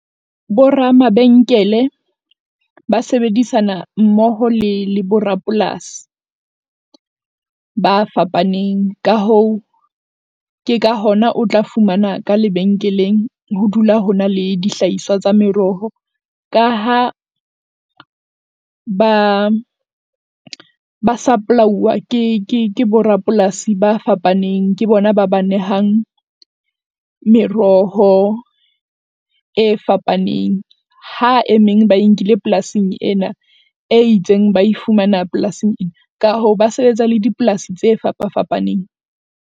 Boramabenkele ba sebedisana mmoho le le borapolasi ba fapaneng, ka hoo, ke ka hona o tla fumana ka lebenkeleng. Ho dula ho na le dihlahiswa tsa meroho ka ha ba, ba supply-uwa ke ke borapolasi ba fapaneng, ke bona ba ba nehang meroho e fapaneng. Ha e meng ba e nkile polasing ena e itseng, ba e fumana polasing ka hoo ba sebetsa le dipolasi tse fapa fapaneng.